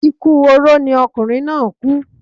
Ikú oró ni ọkunrin naa ku